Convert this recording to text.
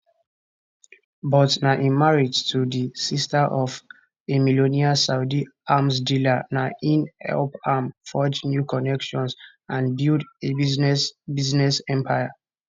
but na im marriage to di sister of a millionaire saudi arms dealer na in help am forge new connections and build a business business empire